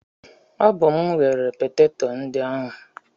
Ọ bụ mụ ghere peteto ndị ahụ.